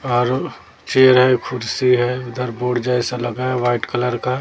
और चेयर है कुर्सी है उधर बोर्ड जैसा लगा है व्हाइट कलर का--